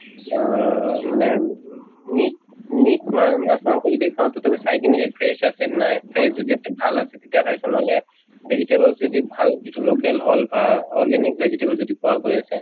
আহ মানে উম meat meat মা মাছ মাংস যদি খাও তথাপিও চাই কিনে fresh আছে নে নাই, fresh যদি আছে ভাল আছে তেতিয়া খাইছো। নহলে vegetable যদি ভাল যিটো local হল বা organic vegetable যিটো পোৱা গৈ আছে